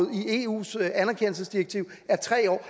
i eus anerkendelsesdirektiv er tre år